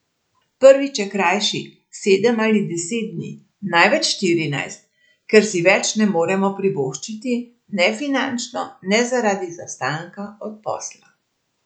Prvič, je krajši, sedem ali deset dni, največ štirinajst, ker si več ne moremo privoščiti ne finančno ne zaradi izostanka od posla.